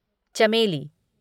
चमेली